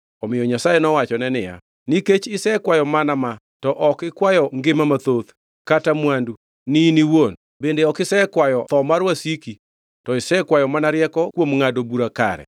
Omiyo Nyasaye nowachone niya, “Nikech isekwayo mana ma to ok ikwayo ngima mathoth kata mwandu ni in iwuon, bende ok isekwayo tho mar wasiki to isekwayo mana rieko kuom ngʼado bura kare,